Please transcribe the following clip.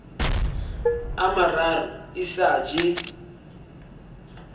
a mararo e sa je